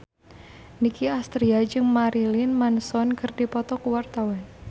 Nicky Astria jeung Marilyn Manson keur dipoto ku wartawan